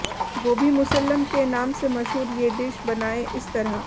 गोभी मुसल्लम के नाम से मशहूर ये डिश बनाएं इस तरह